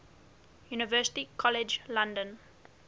university college london